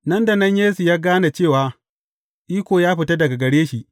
Nan da nan Yesu ya gane cewa, iko ya fita daga gare shi.